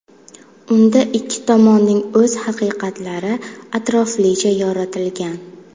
Unda ikki tomonning o‘z haqiqatlari atroflicha yoritilgan.